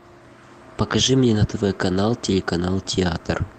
покажи мне на тв канал телеканал театр